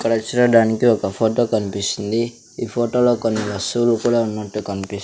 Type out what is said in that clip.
ఇక్కడ చూడడానికి ఒక ఫోటో కనిపిస్తుంది ఈ ఫోటోలో కొన్ని వస్తువులు కూడా ఉన్నట్టు కనిపిస్.